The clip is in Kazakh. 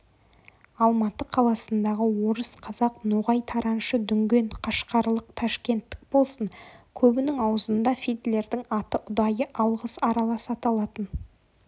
алматы қаласындағы орыс қазақ ноғай тараншы дүнген қашқарлық ташкенттік болсын көбінің аузында фидлердің аты ұдайы алғыс аралас аталатын